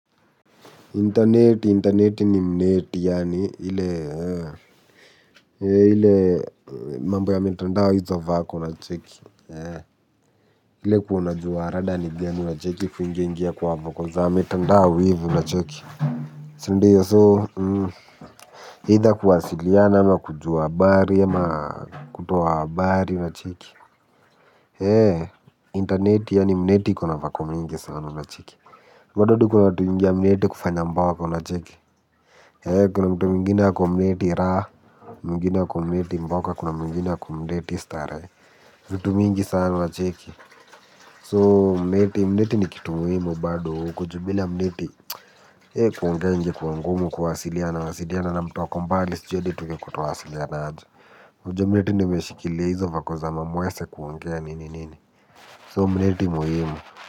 Interneti interneti ni mneti yaani ile ile mambo ya mitandao hizo vako unacheki, ile kuwa unajua rada ni ngani unacheki kuingi ingia kwa voko za mitandao ivi unacheki sindiyo so either kuwasiliana ama kujua habari ama kutoa habari unacheki interneti yaani mneti kuna vako mingi sana unacheki bado kuna watu hiingia mneti kufanya mboka unacheki kuna mtu mwingine ako mneti raha, mwingine ako mneti mboka, kuna mwingina ako mneti starehe. Zitu mingi sana wa cheki, So mneti mneti ni kitu muhimu bado huko ju bila mneti kuongea ingekuwa ngumu kuwasiliana wasiliana na mtu ako mbali sijui hadi tungekuwa twawasiliana aje, ujua mneti ndo imeshikilia hizo vako za mamwese kuongea nini nini So mneti muhimu.